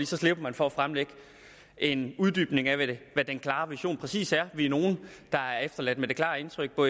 så slipper man for at fremlægge en uddybning af hvad den klare vision præcis er vi er nogle der er efterladt med det klare indtryk